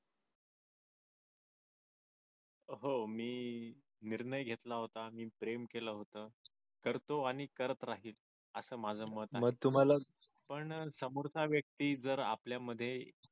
हो मी निर्णय घेतला होता मी प्रेम केलं होत करतो आणि करत राहील असं माझं मत आहे पण समोरचा व्यक्ती जर आपल्यामध्ये